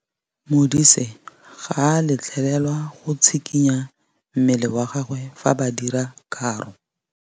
Modise ga a letlelelwa go tshikinya mmele wa gagwe fa ba dira karô.